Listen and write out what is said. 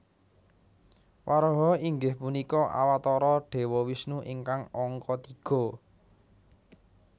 Waraha inggih punika Awatara Dewa Wisnu ingkang angka tiga